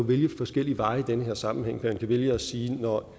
vælge forskellige veje i den her sammenhæng man kan vælge at sige at når